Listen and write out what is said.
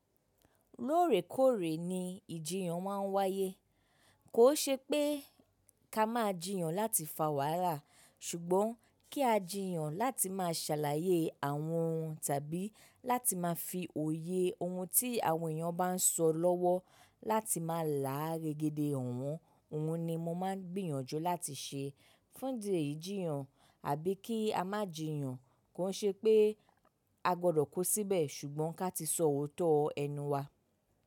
Lóòrèkóòrè ni ìjiyàn máa ń wáyé. Kò ṣe pé ká máa jiyàn láti fa wàala, ṣùgbọ́n kí a jiyàn láti máa ṣàlàyé àwọn ohun tàbí láti máa fi òye ohun tí àwọn èèyàn bá ń sọ lọ́wọ́ láti máa là á gégédé hàn wọ́n. Ohun ni mo máa ń gbìyànjú láti ṣe. Fún ìdeyí ìjiyàn àbí kí a má jiyàn, kò i ṣe pé a gbọdọ̀ ku síbẹ̀ ṣùgbọ́n ká ti sọ òótọ́ ẹnu wa.